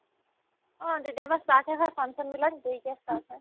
অ, তেতিয়াৰ পাই startহে হয় function বিলাক দেৰিকে start হয়